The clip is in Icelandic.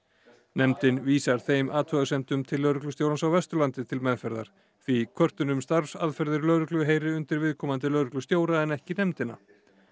nefndin vísar þeim athugasemdum til lögreglustjórans á Vesturlandi til meðferðar því kvörtun um starfsaðferðir lögreglu heyri undir viðkomandi lögreglustjóra en ekki nefndina